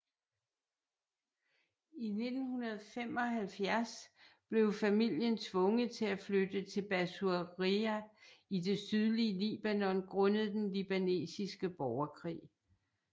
I 1975 blev familien tvunget til at flytte til Bassouriyyeh i det sydlige Libanon grundet den libanesiske borgerkrig